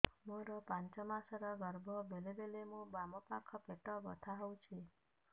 ମୋର ପାଞ୍ଚ ମାସ ର ଗର୍ଭ ବେଳେ ବେଳେ ମୋ ବାମ ପାଖ ପେଟ ବଥା ହଉଛି